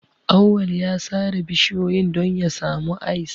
Auwal ya sare bishiyoyin don ya samu ice.